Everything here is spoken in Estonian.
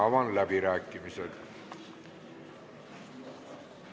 Avan läbirääkimised.